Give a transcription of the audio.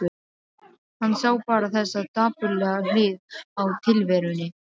Hann sá bara þessa dapurlegu hlið á tilverunni.